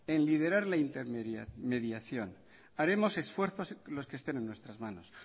en liderar la intermediación haremos esfuerzos los que estén en nuestras manos